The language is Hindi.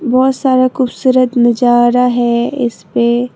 बहुत सारा खूबसूरत नजारा है इस पे।